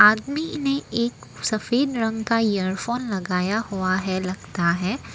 अदमी ने एक सफेद रंग का ईयरफोन लगाया हुआ है लगता है।